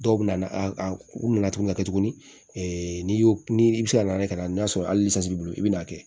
Dɔw bɛ na a u nana tuguni ka kɛ tuguni n'i y'o ni i bɛ se ka na ni ka n'a sɔrɔ hali sini i bɛ n'a kɛ